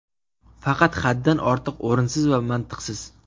Faqat haddan ortiq o‘rinsiz va mantiqsiz.